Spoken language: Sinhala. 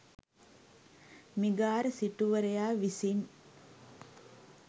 මිගාර සිටුවරයා විසින්